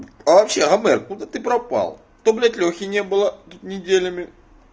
а вообще армен куда ты пропал то блять лехи не было тут неделями